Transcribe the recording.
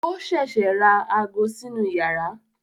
Ó ṣẹ̀ṣẹ̀ ra ago sínú yàrá